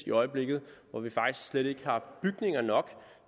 i øjeblikket hvor der faktisk slet ikke er bygninger nok